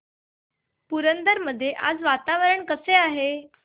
पुरंदर मध्ये आज वातावरण कसे आहे